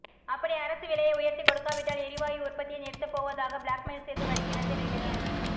அப்படி அரசு விலையை உயர்த்திக் கொடுக்காவிட்டால் எரிவாயு உற்பத்தியை நிறுத்தப் போவதாக பிளாக்மெயில் செய்து வருகிறது ரிலையன்ஸ்